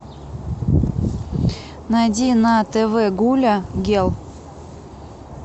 найди на тв гуля гел